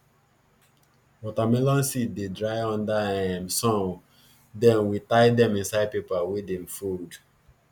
watermelon seed dey dry under um sun then we tie dem inside paper wey dem fold